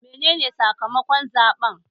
Menene sakamakon zaɓen?